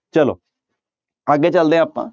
ਚਲੋ ਅੱਗੇ ਚੱਲਦੇ ਹਾਂ ਆਪਾਂ।